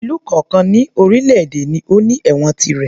Ìlú kọ̀ọ̀kan ní orílè èdè ló ní ẹ̀wọ̀n tirẹ̀